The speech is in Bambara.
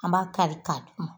An b'a kari d'u ma